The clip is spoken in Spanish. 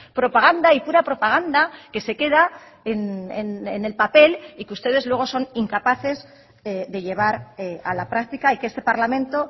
propaganda y pura propaganda que se queda en el papel y que ustedes luego son incapaces de llevar a la práctica y que este parlamento